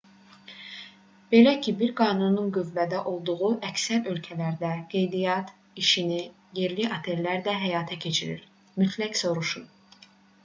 belə bir qanunun qüvvədə olduğu əksər ölkələrdə qeydiyyat işini yerli otellər də həyata keçirir mütləq soruşun